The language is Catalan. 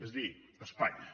és a dir espanya